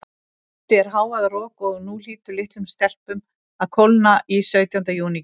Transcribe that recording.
Úti er hávaðarok, og nú hlýtur litlum stelpum að kólna í sautjánda júní kjólunum.